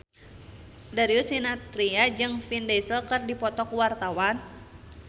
Darius Sinathrya jeung Vin Diesel keur dipoto ku wartawan